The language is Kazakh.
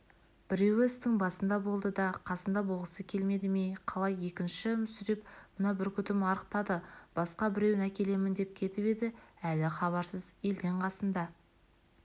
біреуі істің басында болды да қасында болғысы келмеді ме қалай екінші мүсіреп мына бүркітім арықтады басқа біреуін әкелемін деп кетіп еді әлі хабарсыз елден қасында